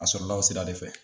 A sɔrɔ la o sira de fɛ.